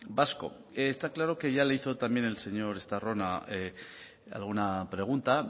vasco está claro que ya le hizo también el señor estarrona alguna pregunta